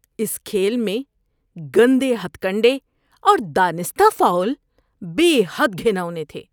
‏اس کھیل میں گندے ہتھکنڈے اور دانستہ فاؤل بے حد گھناونے تھے۔